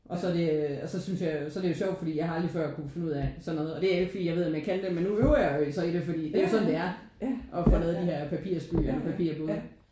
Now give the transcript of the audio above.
Og så er det øh og så synes jeg jo det er sjovt fordi jeg har aldrig før kunne finde ud af sådan noget. Og det er jo ikke fordi jeg ved om jeg kan det men nu øver jeg mig jo så i det fordi det er jo sådan det er at få lavet de her papirfly og papirbåde